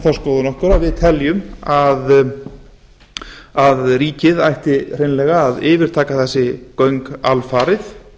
þá skoðun okkar að við teljum að ríkið ætti hreinlega að yfirtaka þessi göng alfarið